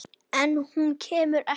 En hún kemur ekki út.